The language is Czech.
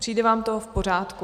Přijde vám to v pořádku?